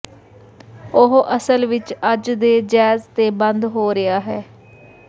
ਉਹ ਅਸਲ ਵਿੱਚ ਅੱਜ ਦੇ ਜੈਜ਼ ਤੇ ਬੰਦ ਹੋ ਰਿਹਾ ਹੈ